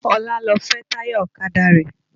Ọlá lọ fẹ́ táyà ọ̀kadà rẹ̀